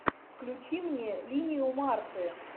включи мне линию марты